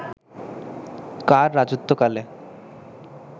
কার রাজত্বকালে